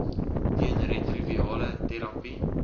teen retrovirale terapie